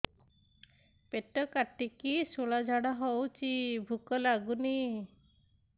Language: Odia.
ପେଟ କାଟିକି ଶୂଳା ଝାଡ଼ା ହଉଚି ଭୁକ ଲାଗୁନି